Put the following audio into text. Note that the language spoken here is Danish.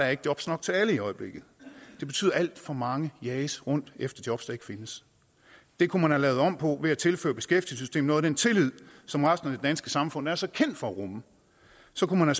er jobs nok til alle i øjeblikket og det betyder at alt for mange jages rundt efter jobs der ikke findes det kunne man have lavet om på ved at tilføre beskæftigelsessystemet noget af den tillid som resten af det danske samfund er så kendt for at rumme så kunne man